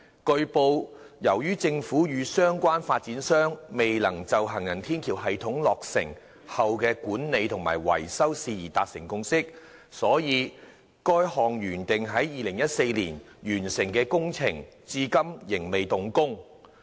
據報，由於政府與相關發展商未能就行人天橋系統落成後的管理及維修事宜達成共識，所以該項原定於2014年完工的工程至今仍未動工。